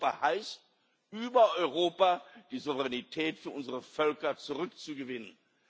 Europa heißt, über Europa die Souveränität für unsere Völker zurückzugewinnen.